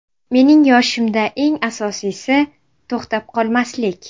Mening yoshimda eng asosiysi – to‘xtab qolmaslik.